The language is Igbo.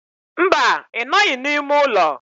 Mba, I noghi n'ime ulo.